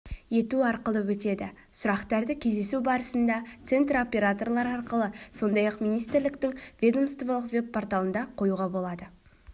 ету арқылы өтеді сұрақтарды кездесу барысында центр операторлары арқылы сондай-ақ министрліктің ведомстволық веб-порталында қоюға болады